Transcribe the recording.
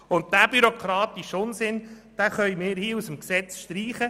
Diesen bürokratischen Unsinn können wir aus dem Gesetz streichen.